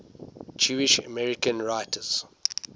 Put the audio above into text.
jewish american writers